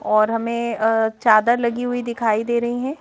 और हमें अ चादर लगी हुई दिखाई दे रही हैं ।